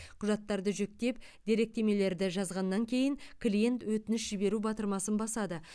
құжаттарды жүктеп деректемелерді жазғаннан кейін клиент өтініш жіберу батырмасын басады